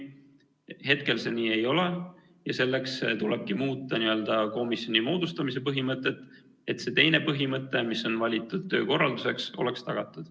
Hetkel see nii ei ole ja selleks tulebki muuta komisjoni moodustamise põhimõtet, et see teine põhimõte, mis on valitud töökorralduseks, oleks tagatud.